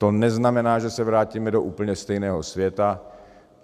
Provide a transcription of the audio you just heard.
To neznamená, že se vrátíme do úplně stejného světa.